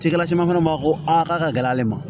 Cikɛla caman fana b'a fɔ ko a k'a ka gɛlɛ ale ma